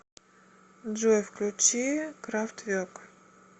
джой включи крафтверк